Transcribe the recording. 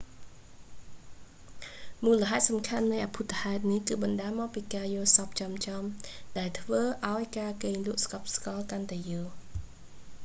មូលហេតុសំខាន់នៃអភូតហេតុនេះគឺបណ្តាលមកពីការយល់សប្តិចំៗ ដែលធ្វើឲ្យការគេងលក់ស្កប់កាន់តែយូរ